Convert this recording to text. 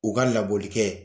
U ka labɔli kɛ.